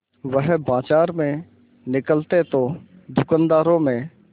वह बाजार में निकलते तो दूकानदारों में